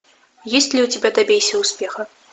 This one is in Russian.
есть ли у тебя добейся успеха